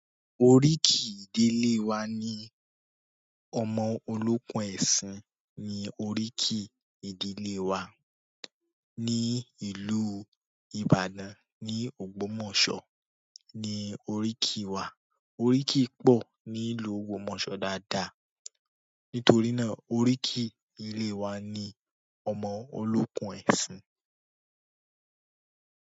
Oríkì ìdílé wa ni ọmọ olókùn ẹ̀sìn ni oríkì ìdílé wa. Ní ìlú Ìbàdàn ni Ògbómọ̀ṣọ́ ni oríkì wa. Oríkì pọ̀ ní ìlú Ògbómọ̀ṣọ́ dáadáa. Nítorí náà oríkì ìdílé wa ni ọmọ olókùn ẹ̀sìn.